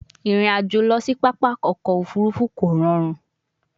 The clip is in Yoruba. Irin ajo lọ si papa ọkọ ofurufu ko rọrun